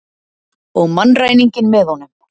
Og mannræninginn með honum.